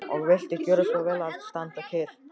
Og viltu gjöra svo vel að standa kyrr.